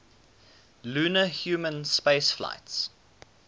lunar human spaceflights